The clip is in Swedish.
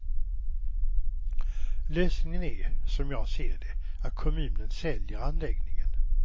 Lösningen är, som jag ser det, att kommunen säljer anläggningen.